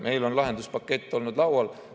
Meil on lahenduspakett olnud laual.